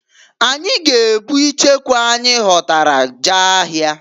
Anyị g'ebukwa icheku anyị ghọtara jee ahịa.